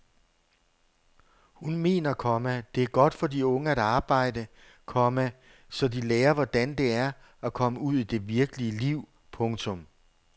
Hun mener, komma det er godt for de unge at arbejde, komma så de lærer hvordan det er at komme ud i det virkelige liv. punktum